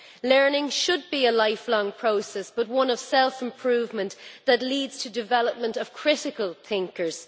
Learning should be a lifelong process, but one of self improvement that leads to development of critical thinkers.